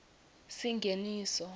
singeniso